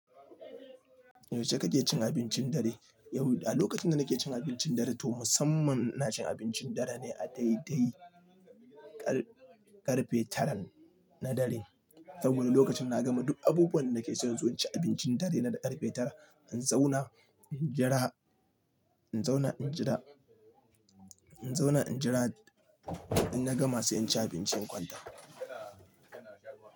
Yaushe kake cin abincin dare? A lokacin da nake cin abincin dare, to musamman ina cin abincin dare ne a daidai ƙarfe tara na dare. Saboda lokacin na gama duk abubuwan danake sai inzo inci abincin dare na da ƙarfe tara. In zauna, in jira, in zauna, in jira, in zauna, in jira, in na gama sai in ci abinci kwanta.